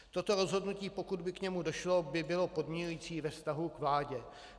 Toto rozhodnutí, pokud by k němu došlo, by bylo podmiňující ve vztahu k vládě.